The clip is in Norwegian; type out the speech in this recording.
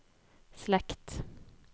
slekt